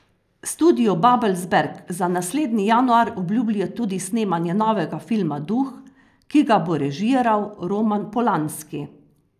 Studio Babelsberg za naslednji januar obljublja tudi snemanje novega filma Duh, ki ga bo režiral Roman Polanski.